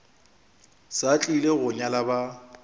sa tlile go nyala ba